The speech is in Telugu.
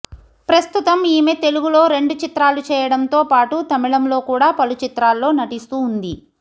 ప్రస్తుతం ఈమె తెలుగులో రెండు చిత్రాలు చేయడంతో పాటు తమిళంలో కూడా పలు చిత్రాల్లో నటిస్తూ ఉంది